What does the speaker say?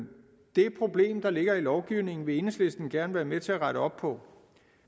det problem der ligger i lovgivningen vil enhedslisten gerne være med til at rette op på